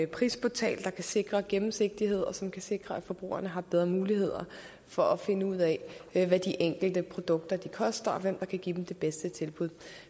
prisportal der kan sikre gennemsigtighed og som kan sikre at forbrugerne har bedre muligheder for at finde ud af hvad de enkelte produkter koster og hvem der kan give dem det bedste tilbud